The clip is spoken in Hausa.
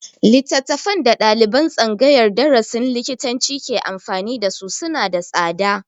Littafan da ɗaliban tsangayar darasin likitanci ke amfani da su suna da tsada